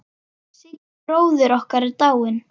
Siggi bróðir okkar er dáinn.